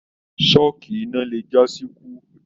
Sọ́kí iná le jasi ikú.